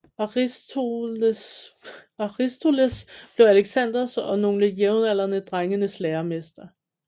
Aristoteles blev Alexanders og nogle jævnaldrende drenges læremester